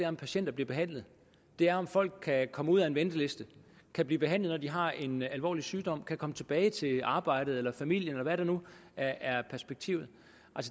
om patienterne bliver behandlet det er om folk kan komme ud af ventelisterne kan blive behandlet når de har en alvorlig sygdom kan komme tilbage til arbejdet eller familien eller hvad der nu er er perspektivet